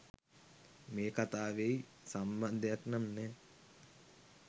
මේ කතාවෙයි සම්බන්ධයක් නම් නෑ.